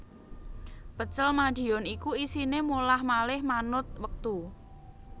Pecel Madiun iku isine molah malih manut wektu